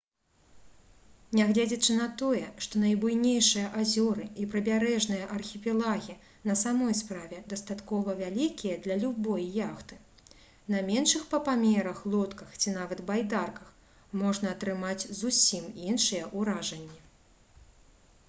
нягледзячы на тое што найбуйнейшыя азёры і прыбярэжныя архіпелагі на самой справе дастаткова вялікія для любой яхты на меншых па памерах лодках ці нават байдарках можна атрымаць зусім іншыя ўражанні